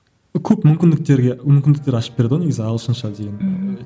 көп мүмкіндіктерге мүмкіндіктер ашып берді ғой негізі ағылшынша деген мхм